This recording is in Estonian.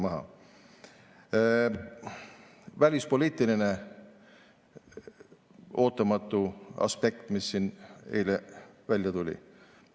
Nüüd see välispoliitiline ootamatu aspekt, mis siin eile välja tuli.